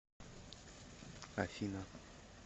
афина